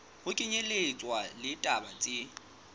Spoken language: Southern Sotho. ho kenyelletswa le ditaba tse